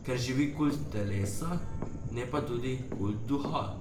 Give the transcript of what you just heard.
Ker živi kult telesa, ne pa tudi kult duha.